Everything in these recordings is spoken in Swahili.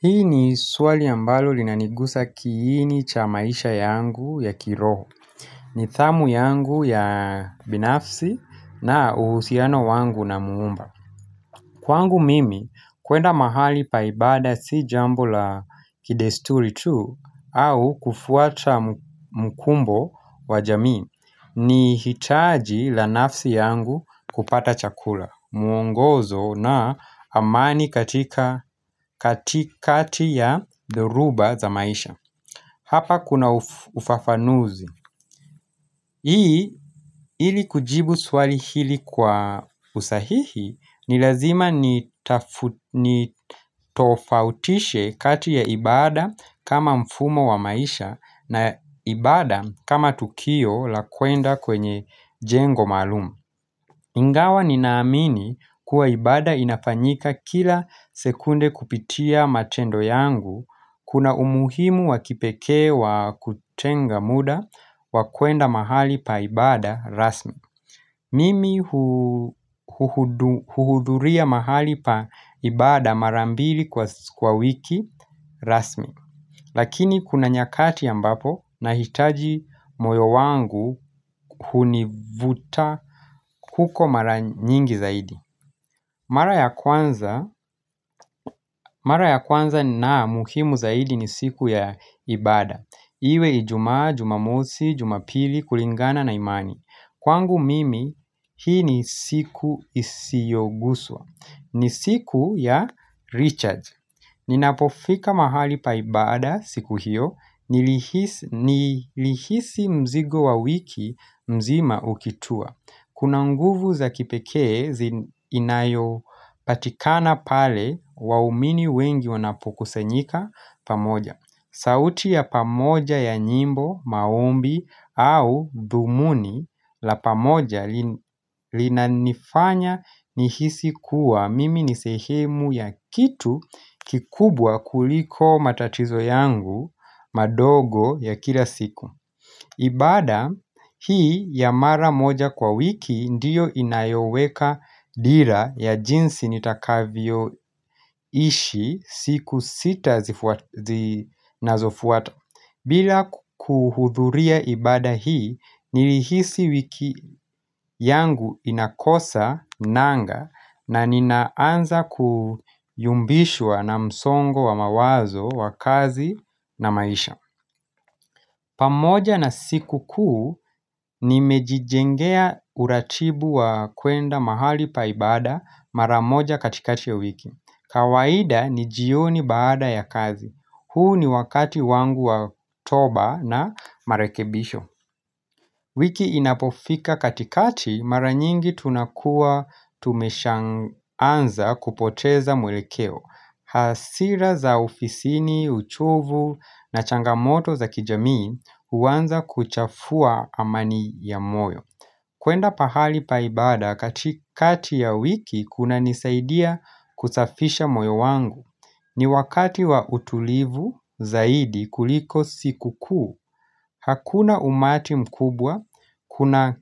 Hii ni suwali ambalo linanigusa kiini cha maisha yangu ya kiroho. Nithamu yangu ya binafsi na uhusiano wangu na muumba. Kwangu mimi kwenda mahali pa ibada si jambo la kidesturi tu au kufuata mkumbo wa jamii ni hitaji la nafsi yangu kupata chakula muongozo na amani katika katikati ya doruba za maisha. Hapa kuna ufafanuzi. Hii ili kujibu swali hili kwa usahihi ni lazima nitofautishe kati ya ibada kama mfumo wa maisha na ibada kama tukio la kuenda kwenye jengo malumu. Ingawa ninaamini kuwa ibada inafanyika kila sekunde kupitia matendo yangu, kuna umuhimu wakipekee wa kutenga muda wakuenda mahali pa ibada rasmi. Mimi huhuduria mahali pa ibada marambili kwa wiki rasmi Lakini kuna nyakati ambapo nahitaji moyo wangu hunivuta kuko mara nyingi zaidi Mara ya kwanza na muhimu zaidi ni siku ya ibada Iwe ijuma, jumamosi, jumapili, kulingana na imani Kwangu mimi hii ni siku isiyoguswa ni siku ya recharge Ninapofika mahali pa ibada siku hiyo Nilihisi mzigo wa wiki mzima ukitua Kuna nguvu za kipekee inayo patikana pale wa umini wengi wanapokusenika pamoja sauti ya pamoja ya nyimbo maombi au dhumuni la pamoja linanifanya nihisi kuwa mimi nisehemu ya kitu kikubwa kuliko matatizo yangu madogo ya kila siku ibada hii ya mara moja kwa wiki ndiyo inayoweka dira ya jinsi nitakavyo ishi siku sita zinazofuata bila kuhudhuria ibada hii, nilihisi wiki yangu inakosa nanga na ninaanza kuyumbishwa na msongo wa mawazo wa kazi na maisha. Pamoja na siku kuu nimejijengea uratibu wa kwenda mahali pa ibada maramoja katikati ya wiki. Kawaida ni jioni baada ya kazi. Huu ni wakati wangu wa toba na marekebisho. Wiki inapofika katikati mara nyingi tunakua tumeshaanza kupoteza mwelekeo. Hasira za ofisini, uchovu na changamoto za kijamii uwanza kuchafua amani ya moyo. Kwenda pahali paibada katikati ya wiki kunanisaidia kusafisha moyo wangu ni wakati wa utulivu zaidi kuliko siku kuu Hakuna umati mkubwa, kuna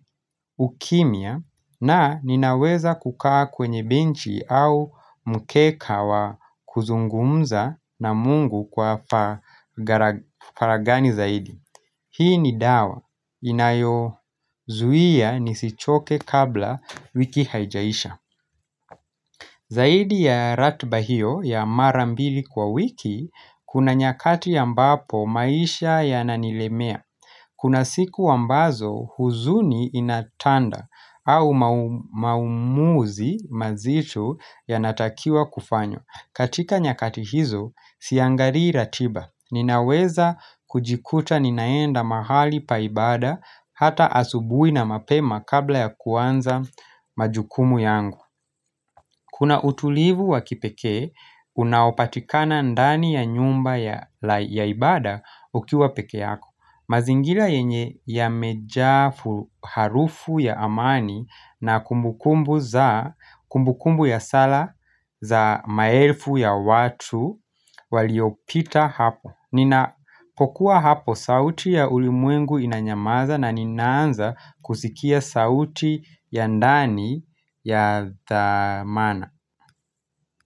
ukimia na ninaweza kukaa kwenye benchi au mkeka wa kuzungumza na mungu kwa faragani zaidi Hii ni dawa. Inayo zuia nisichoke kabla wiki haijaisha. Zaidi ya ratiba hiyo ya marambili kwa wiki, kuna nyakati ambapo maisha yananilemea. Kuna siku ambazo huzuni inatanda au maumuzi mazitu yanatakiwa kufanywa. Katika nyakati hizo, siangarii ratiba Ninaweza kujikuta ninaenda mahali paibada Hata asubui na mapema kabla ya kuanza majukumu yangu Kuna utulivu wa kipeke, unaopatikana ndani ya nyumba ya ibada ukiwa peke yako mazingila yenye yamejaa harufu ya amani na kumbukumbu ya sala za maelfu ya watu waliopita hapo Ninapokua hapo sauti ya ulimwengu inanyamaza na ninaanza kusikia sauti ya ndani ya dhamana.